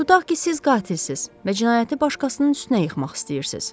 Tutaq ki, siz qatilsiz və cinayəti başqasının üstünə yıxmaq istəyirsiz.